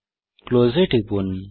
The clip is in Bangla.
ক্লোজ এ টিপুন